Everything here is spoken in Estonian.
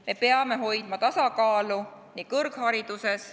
Me peame hoidma tasakaalu kõrghariduses.